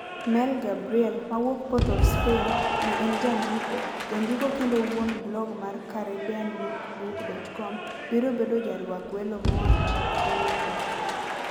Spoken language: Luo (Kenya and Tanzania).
Mel Gabriel, mawuok Port of Spain, ma en jandiko, jandiko kendo wuon blog mar CaribbeanLookBook.com, biro bedo jarwak welo moa Trinidad.